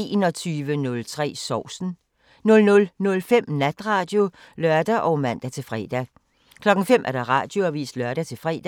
21:03: Sovsen 00:05: Natradio (lør og man-fre) 05:00: Radioavisen (lør-fre)